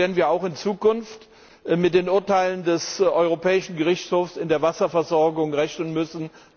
Deshalb werden wir auch in Zukunft mit den Urteilen des Europäischen Gerichtshofs in der Wasserversorgung rechnen müssen.